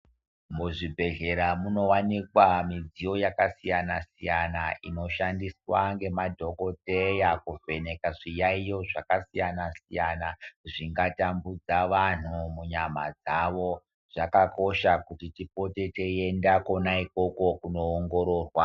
Muzvibhedhlera munowanikwa midziyo yakasiyana-siyana inoshandiswa ngemadhokoteya kuvheneka zviyaiyo zvakasiyana-siyana zvingatambudza vanhu munyama dzavo. Zvakakosha kuti tipote teienda kona ikoko kunoongororwa.